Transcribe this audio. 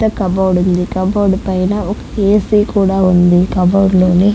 పెద్ద కబోర్డు ఉంది కబోర్డ్ పైన ఒక ఏసీ కూడా ఉంది కబోర్డ్ లోని--